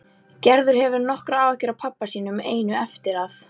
Gerður hefur nokkrar áhyggjur af pabba sínum einum eftir að